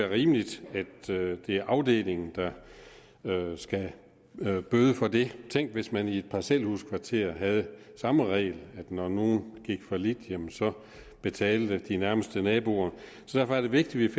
rimeligt at det er afdelingen der skal bøde for det tænk hvis man i et parcelhuskvarter havde samme regel med at når nogen gik fallit så betalte de nærmeste naboer så derfor er det vigtigt at